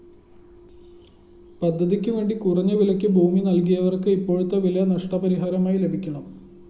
പദ്ധതിക്കുവേണ്ടി കുറഞ്ഞവിലയ്ക്ക് ഭൂമി നല്‍കിയവര്‍ക്ക് ഇപ്പോഴത്തെ വില നഷ്ടപരിഹാരമായി ലഭിക്കണം